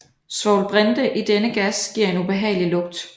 Svovlbrinte i denne gas giver en ubehagelig lugt